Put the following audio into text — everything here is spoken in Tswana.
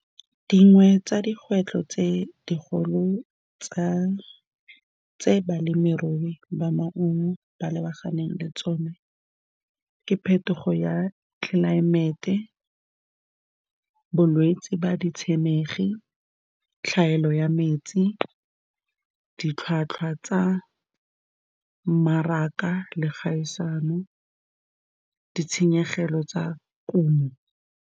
Dingwe tsa dikgwetlho tse dikgolo tsa, tse balemirui ba maungo ba lebaganeng le tsone ke phetogo ya tlelaemete, bolwetsi ba ditshenekegi, tlhaelo ya metsi, ditlhwatlhwa tsa mmaraka le kgaisano, ditshenyegelo tsa kumo.